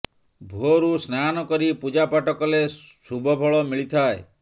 ଭୋରରୁ ସ୍ନାନ କରି ପୂଜା ପାଠ କଲେ ଶୁଭଫଳ ମିଳିଥାଏ